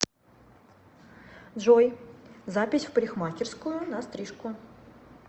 джой запись в парикмахерскую на стрижку